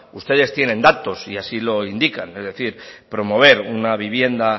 ustedes tienen datos y así lo indican es decir promover una vivienda